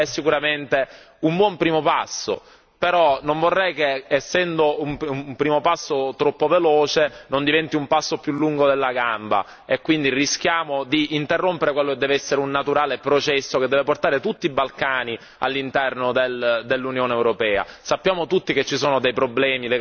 L'accordo di stabilizzazione e associazione è sicuramente un buon primo passo però non vorrei che, essendo un primo passo troppo veloce, diventi un passo più lungo della gamba e quindi rischiamo di interrompere quello che deve essere un naturale processo, che deve portare tutti i Balcani all'interno dell'Unione europea.